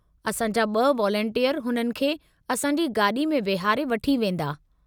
असां जा ब॒ वालंटियर हुननि खे असां जी गाॾी में वेहारे वठी वेंदा।